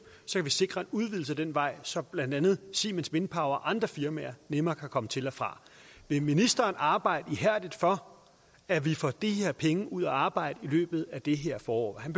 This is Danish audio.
sikre en udvidelse af den vej så blandt andet siemens wind og andre firmaer nemmere kan komme til og fra vil ministeren arbejde ihærdigt for at vi får de her penge ud at arbejde i løbet af det her forår han